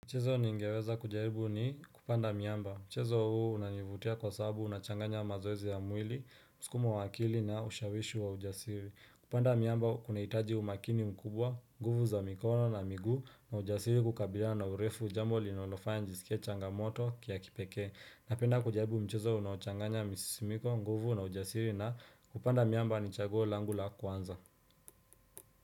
Mchezo niingeweza kujaribu ni kupanda miamba. Mchezo huu unanivutia kwa sababu unachanganya mazoezi ya mwili, mskumo waakili na ushawishi wa ujasiri. Kupanda miamba kunaitaji umakini mkubwa, nguvu za mikono na miguu na ujasiri kukabila na urefu jambo linalofanya njisikie changamoto kia kipekee. Napenda kujaribu mchezo unaochanganya misisimiko, nguvu na ujasiri na kupanda miamba ni chaguo langula kwanza.